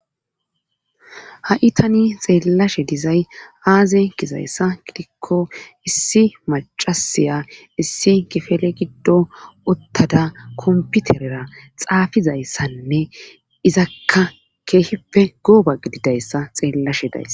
Ha'i tani xeellashshe dizay aaze gizayssa gidikko issi macasiya issi kifele giddo uttada komputerera xaafizayssanne izakka keehippe gooba gididayssa xeellashe days